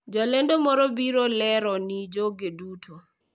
Jalendo moro biro lero ni jogo duto,